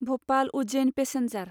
Bhopal Ujjain passenger